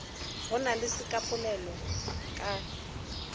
go na le sekapolelo ka